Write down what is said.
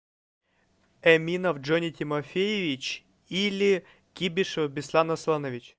эминов джонни тимофеевич или кибишева беслан асланович